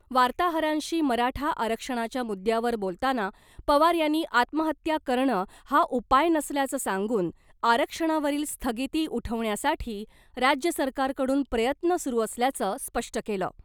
वार्ताहरांशी मराठा आरक्षणाच्या मुद्द्यावर बोलताना पवार यांनी आत्महत्या करणं हा उपाय नसल्याचं सांगून आरक्षणावरील स्थगिती उठवण्यासाठी राज्य सरकारकडून प्रयत्न सुरु असल्याचं स्पष्ट केलं .